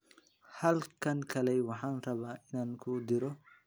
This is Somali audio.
Halkan kaalay, waxaan rabaa inaan ku diro.